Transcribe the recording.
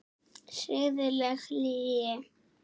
Siðleg lygi.